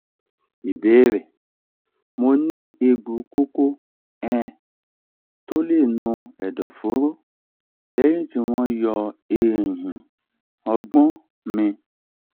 ìbéèrè: mo ni egbo koko um to le no edoforo leyin ti won yo ehin ogbon mi